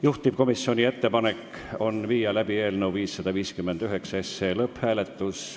Juhtivkomisjoni ettepanek on panna eelnõu 559 lõpphääletusele.